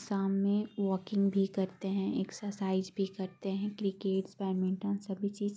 सामने वॉकिंग भी करते है एक्सर्साइज़ भी करते है क्रिकेट बैडमिंटन सभी चीज--